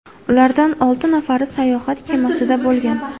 Ulardan olti nafari sayohat kemasida bo‘lgan.